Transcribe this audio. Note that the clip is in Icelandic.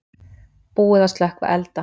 Búið að slökkva elda